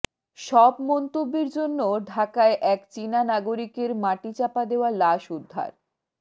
সব মন্তব্যের জন্য ঢাকায় এক চীনা নাগরিকের মাটিচাপা দেওয়া লাশ উদ্ধার